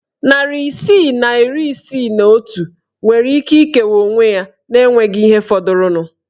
Narị isii na iri isii na otu nwere ike ikewa onwe ya na enweghị ihe fọdụrụnụ.